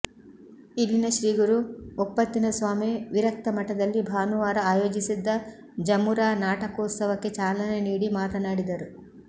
ಇಲ್ಲಿನ ಶ್ರೀಗುರು ಒಪ್ಪತ್ತಿನಸ್ವಾಮಿ ವಿರಕ್ತಮಠದಲ್ಲಿ ಭಾನುವಾರ ಆಯೋಜಿಸಿದ್ದ ಜಮುರಾ ನಾಟಕೋತ್ಸವಕ್ಕೆ ಚಾಲನೆ ನೀಡಿ ಮಾತನಾಡಿದರು